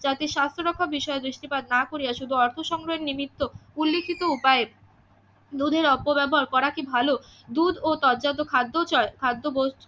জাতির সাস্থ্যরক্ষা বিষয়ে দৃষ্টিপাত না করিয়া শুধু অর্থ সংগ্রহের নিমিত্ত উল্লিখিত উপায়ে দুধের অপব্যবহার করা কি ভালো? দুধ ও ততজাত খাদ্যচয় খাদ্যবস্তু